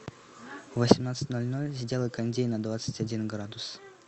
в восемнадцать ноль ноль сделай кондей на двадцать один градус